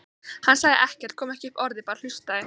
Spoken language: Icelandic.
Hann sagði ekkert, kom ekki upp orði, hlustaði bara.